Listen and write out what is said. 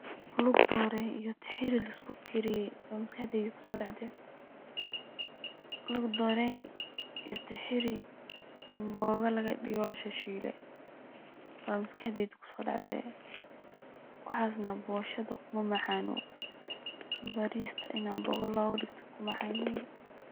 Lug doorey iyo tixiri lisku kaariye aya maskaxdey kuso dhacde, lug doorey iyo tixiri amboga laga dhige oo la shilshiile ba maskaxdeyda kuso dhacde, waxasna boshoda kuma macaano, bariska ini amboga loga dhigto uu ku macaan yehe